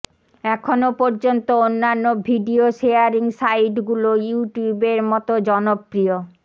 এখন পর্যন্ত অন্যান্য ভিডিও শেয়ারিং সাইটগুলো ইউটিউবের মতো জনপ্রিয়